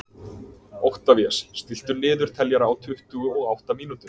Oktavías, stilltu niðurteljara á tuttugu og átta mínútur.